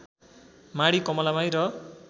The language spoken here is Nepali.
माढी कमलामाई र